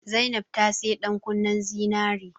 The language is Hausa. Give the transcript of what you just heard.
Zainab ta saya ɗan kunnen zinari